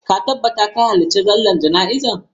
Ka tabbata ka halarci sallar jana'iza!